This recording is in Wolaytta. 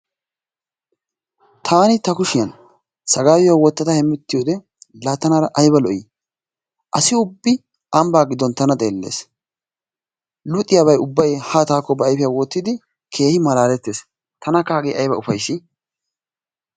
taani ta kushiyan saggayuwa wotada hemettiyode laa tana aybba lo'ii? assi ubbi ambbaa giddon tana xeelees, luxxiyaabay ubbay haa taakko xeelees. tanakka hagee aybba ufayssi?